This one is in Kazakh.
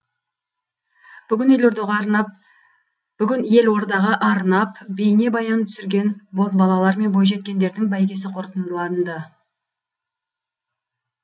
бүгін елордаға арнап бейнебаян түсірген бозбалалар мен бойжеткендердің бәйгесі қорытындыланды